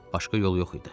Başqa yol yox idi.